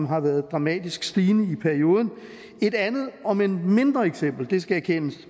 har været dramatisk stigende i perioden et andet omend mindre eksempel det skal erkendes